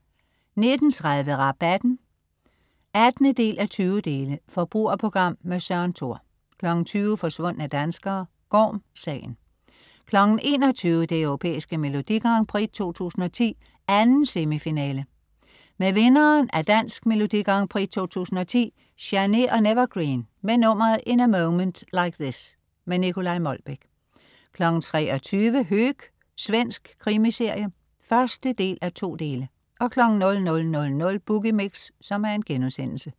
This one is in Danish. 19.30 Rabatten 18:20. Forbrugerprogram. Søren Thor 20.00 Forsvundne danskere. Gorm-sagen 21.00 Det Europæiske Melodi Grand Prix 2010, 2. semifinale. Med vinderen af Dansk Melodi Grand Prix 2010 Chanée & N'evergreen, med nummeret "In A Moment Like This". Nicolai Molbech 23.00 Höök. Svensk krimiserie 1:2 00.00 Boogie Mix*